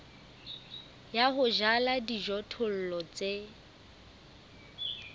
ya ho jala dijothollo tse